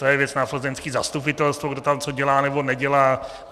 To je věc na plzeňské zastupitelstvo, kdo tam co dělá nebo nedělá.